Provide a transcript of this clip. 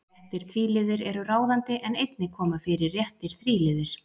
Réttir tvíliðir eru ráðandi en einnig koma fyrir réttir þríliðir.